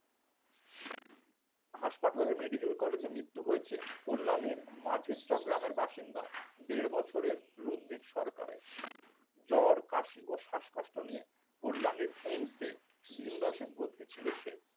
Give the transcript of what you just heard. হাসপাতালে medical collage মৃত্যু হয়েছে কল্যাণীর মাঝের চক গ্রামের বাসিন্দা দেড় বছরের রুদ্রিক সরকারের জ্বর কাশি ও শ্বাসকষ্ট নিয়ে কল্যাণীর এমসে দিন দশেক ভর্তি ছিল সে